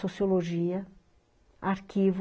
Sociologia, arquivo,